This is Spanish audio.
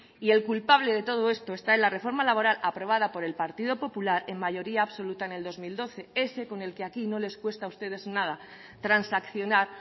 y el culpable de todo esto está en la reforma laboral aprobada por el partido popular en mayoría absoluta en el dos mil doce ese con el que aquí no les cuesta a ustedes nada transaccionar